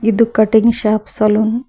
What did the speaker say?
ಇದು cutting shop salon .